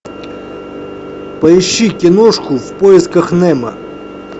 поищи киношку в поисках немо